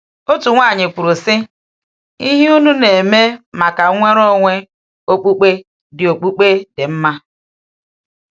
Otu nwaanyị kwuru sị: “Ihe unu na-eme maka nnwere onwe okpukpe dị okpukpe dị mma.”